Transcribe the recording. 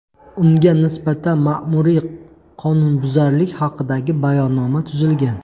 Unga nisbatan ma’muriy qonunbuzarlik haqidagi bayonnoma tuzilgan.